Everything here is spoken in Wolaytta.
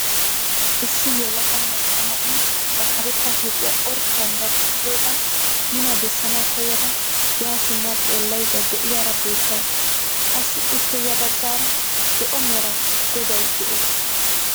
Issi yelaga macca na'iyaa ba karetta huuphphiyaa orddiyaan dadisoogaa nuna bessanwu koyada yaa simma xeellayda de'iyaara beettawus. qassi ippe ya baggaara zo'o mera goday de'ees.